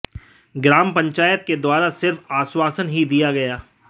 ग्राम पंचायत के द्वारा सिर्फ आश्वासन ही दिया गया